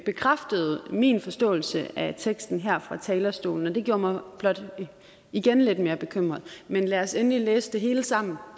bekræftede min forståelse af teksten her fra talerstolen og det gjorde mig blot igen lidt mere bekymret men lad os endelig læse det hele sammen